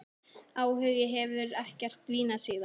Áhuginn hefur ekkert dvínað síðan.